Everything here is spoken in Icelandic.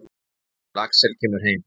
Þangað til Axel kemur heim.